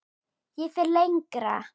Ég fer lengra.